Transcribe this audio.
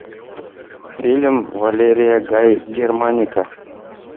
фильм валерия гай германика